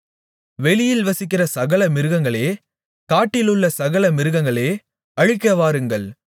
வெளியில் வசிக்கிற சகல மிருகங்களே காட்டிலுள்ள சகல மிருகங்களே அழிக்க வாருங்கள்